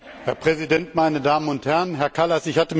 Herr Präsident, meine Damen und Herren, Herr Kallas!